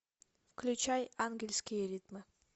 включай ангельские ритмы